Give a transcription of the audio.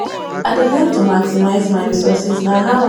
i dey learn to maximize my resources na how i go thrive